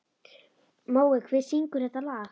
Mói, hver syngur þetta lag?